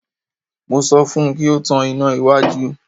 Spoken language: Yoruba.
Mo sọ fún un kí ó tan iná iwájú.